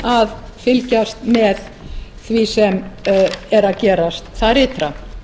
að fylgjast með því sem er að gerast þar ytra